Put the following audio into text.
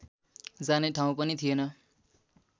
जाने ठाउँ पनि थिएन